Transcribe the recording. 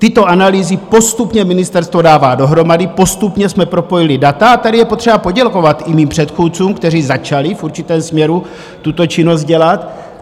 Tyto analýzy postupně ministerstvo dává dohromady, postupně jsme propojili data, a tady je potřeba poděkovat i mým předchůdcům, kteří začali v určitém směru tuto činnost dělat.